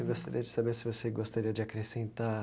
Eu gostaria de saber se você gostaria de acrescentar